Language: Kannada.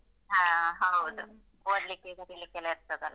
ಓದ್ಲಿಕ್ಕೆ, ಬರೀಲಿಕ್ಕೆ ಎಲ್ಲ ಇರ್ತದಲ್ಲ?